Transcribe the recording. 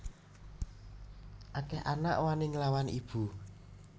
Akeh anak wani nglawan ibu